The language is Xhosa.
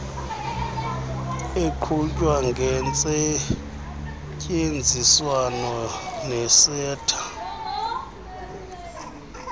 eqhutywa ngentseenziswano neseta